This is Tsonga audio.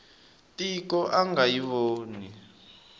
tiko a nga yi voni